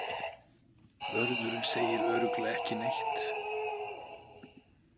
Vörðurinn segir örugglega ekki neitt.